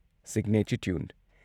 signature tune